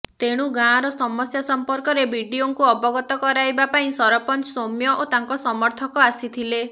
ତେଣୁ ଗାଁର ସମସ୍ୟା ସମ୍ପର୍କରେ ବିଡିଓଙ୍କୁ ଅବଗତ କରାଇବା ପାଇଁ ସରପଞ୍ଚ ସୌମ୍ୟ ଓ ତାଙ୍କ ସମର୍ଥକ ଆସିଥିଲେ